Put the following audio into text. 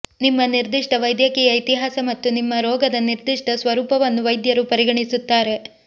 ನಿಮ್ಮ ನಿರ್ದಿಷ್ಟ ವೈದ್ಯಕೀಯ ಇತಿಹಾಸ ಮತ್ತು ನಿಮ್ಮ ರೋಗದ ನಿರ್ದಿಷ್ಟ ಸ್ವರೂಪವನ್ನು ವೈದ್ಯರು ಪರಿಗಣಿಸುತ್ತಾರೆ